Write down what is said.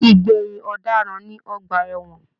Igbẹyin ọdaràn ní ọgbà ẹwọn